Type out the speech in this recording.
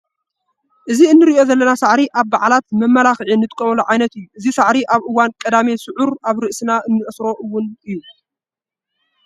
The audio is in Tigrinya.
እቲ እንሪኦ ዘለና ሳዕሪ ኣብ በዓላት ንመመላክዒ ንጥቀመሉ ዓይነት እዩ፡፡ እዚ ሳዕሪ ኣብ እዋን ቀዳሜ ስዑር ኣብ ርእስና ንኣስሮ እውን እዩ፡፡